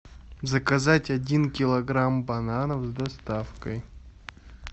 заказать один килограмм бананов с доставкой